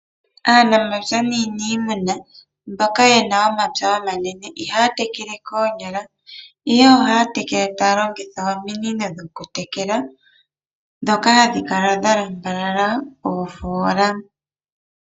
Aanamapya naanimuna mboka yena omapya omanene ihaya tekele koonyala. Ihe ohaya tekele taya longitha ominino dhoku tekela. Dhoka hadhi kala dha lamba lala oofola.